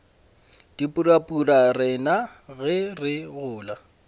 dipurabura rena ge re gola